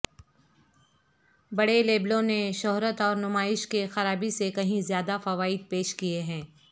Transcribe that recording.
بڑے لیبلوں نے شہرت اور نمائش کے خرابی سے کہیں زیادہ فوائد پیش کیے ہیں